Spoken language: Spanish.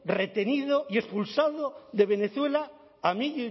retenido y expulsado de venezuela a mí